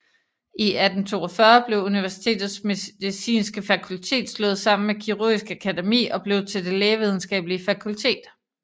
I 1842 blev universitetets medicinske fakultet slået sammen med Kirurgisk Akademi og blev til Det Lægevidenskabelige Fakultet